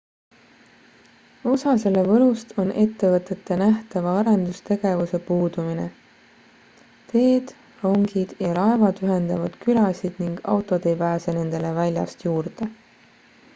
osa selle võlust on ettevõtete nähtava arendustegevuse puudumine teed rongid ja laevad ühendavad külasid ning autod ei pääse nendele väljast juurde